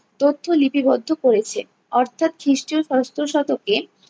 তথ্য লিপিবদ্ধ করেছে। অর্থাৎ খ্রিস্টীয় ষষ্ঠ শতকে